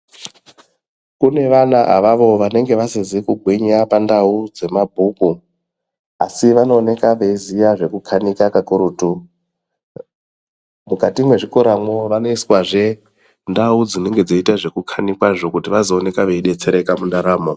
Kune vana avavo vanofanire kugwinya pandau dzemabhuku, asi vanooneka veiziya zvekukanika kakurutu. Mukati mwezvikorazvo vanoiswazve ndau dzinenge dzinoita zvekukanikazvo kuti vazonekwa veibetsereka mundaramo.